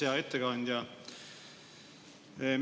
Hea ettekandja!